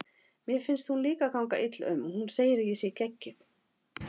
Mér finnst hún ganga illa um og hún segir að ég sé geggjuð.